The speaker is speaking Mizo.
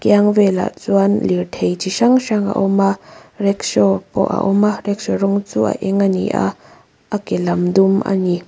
kiang velah chuan lirthei chi hrang hrang a awm a rackshaw pawh a awm a rackshaw rawng chu a eng a ni a a ke lam dum a ni.